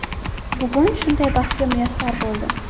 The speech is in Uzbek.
Bugun shunday baxtga muyassar bo‘ldim.